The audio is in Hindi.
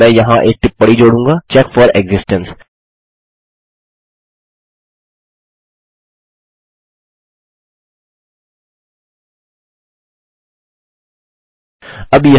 मैं यहाँ एक टिप्पणी जोडूँगा चेक फोर एक्सिस्टेंस